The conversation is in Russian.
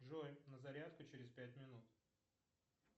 джой на зарядку через пять минут